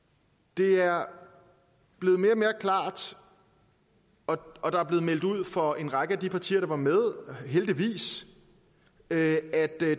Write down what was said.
det er blevet mere og mere klart og der er blevet meldt ud fra en række af de partier der var med heldigvis at